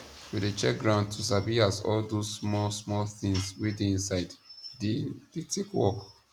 we dey check ground to sabi as all those small small things wey dey inside dey dey take work